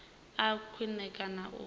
a vhe khwine kana u